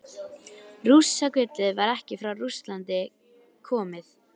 Rússagullið var ekki frá Rússlandi komið.